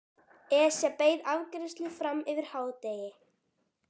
Esja beið afgreiðslu fram yfir hádegi.